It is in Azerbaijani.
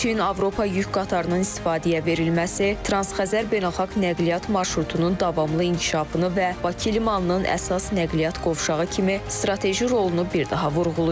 Çin-Avropa yük qatarının istifadəyə verilməsi Transxəzər beynəlxalq nəqliyyat marşrutunun davamlı inkişafını və Bakı limanının əsas nəqliyyat qovşağı kimi strateji rolunu bir daha vurğulayır.